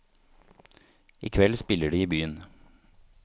I kveld spiller de i byen.